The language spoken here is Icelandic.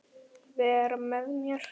Vera með mér?